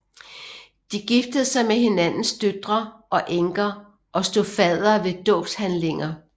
De giftede sig med hinandens døtre og enker og stod faddere ved dåbshandlinger